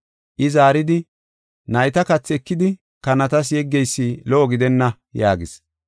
I zaaridi, “Nayta kathi ekidi kanatas yeggeysi lo77o gidenna” yaagis.